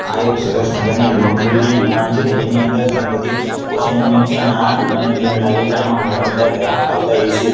આ એક સરસ મજાની લોન્ડ્રી ની દુકાન છે જેની અંદર ઘણી બધી વોસીંગ આ દુકાને જોઈને લાગે છે કે આમાં ઘણા બધા ગ્રાહક આવતા હશે.